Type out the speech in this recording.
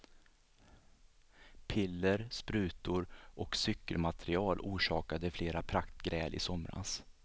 Piller, sprutor och cykelmaterial orsakade flera praktgräl i somras.